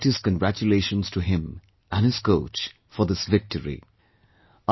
I extend my heartiest congratulations to him and his coach for this victory